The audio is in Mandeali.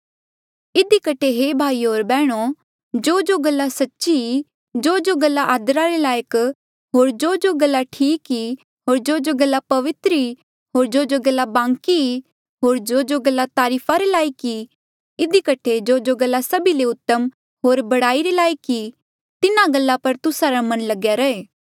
इधी कठे हे भाईयो होर बैहणो जोजो गल्ला सच्ची ई जोजो गल्ला आदरा रे लायक होर जोजो गल्ला ठीक ई होर जोजो गल्ला पवित्र ई होर जोजो गल्ला बांकी ई होर जोजो गल्ला तारीफ रे लायक ई इधी कठे जोजो गल्ला सभी ले उतम होर बढ़ाई रे लायक ई तिन्हा गल्ला पर तुस्सा रा मन लगेया रहे